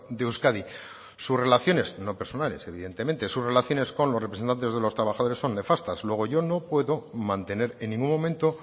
de euskadi sus relaciones no personales evidentemente sus relaciones con los representantes de los trabajadores son nefastas luego yo no puedo mantener en ningún momento